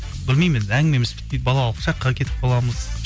білмеймін енді әңгімеміз бітпейді балалық шаққа кетіп қаламыз